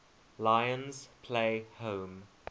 lions play home